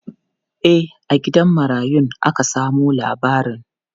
E, a gidan marayun aka samo labarin.